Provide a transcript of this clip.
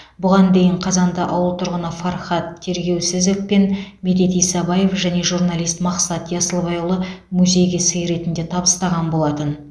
бұған дейін қазанды ауыл тұрғыны фархат тергеусізов пен медет исабаев және журналист мақсат ясылбайұлы музейге сый ретінде табыстаған болатын